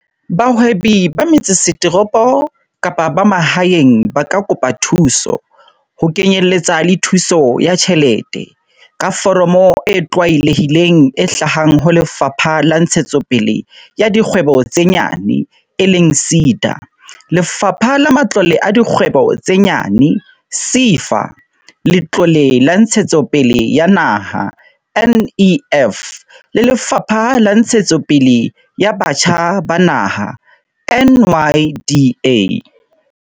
Bahwebi ba metsesetoropo kapa ba mahaeng ba ka kopa thuso, ho kenyeletsa le thuso ya tjhelete, ka foromo e tlwaelehileng e hlahang ho Lefapha la Ntshetsopele ya Dikgwebo tse Nyane, SEDA, Lefapha la Matlole a Dikgwebo tse Nyane, SEFA, Letlole la Ntshetsopele ya Naha, NEF, le Lefapha la Ntshetsopele ya Batjha ba Naha, NYDA.